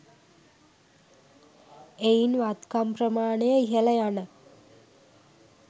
එයින් වත්කම් ප්‍රමාණය ඉහළ යන